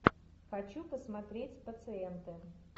хочу посмотреть пациенты